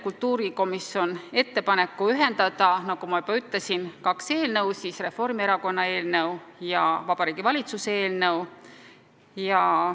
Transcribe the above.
Kultuurikomisjon teeb ettepaneku ühendada, nagu ma juba ütlesin, kaks eelnõu: Reformierakonna eelnõu ja Vabariigi Valitsuse eelnõu.